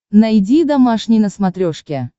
найди домашний на смотрешке